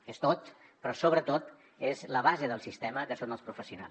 que és tot però sobretot és la base del sistema que són els professionals